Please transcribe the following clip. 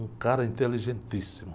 Um cara inteligentíssimo.